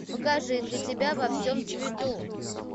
покажи для тебя во всем цвету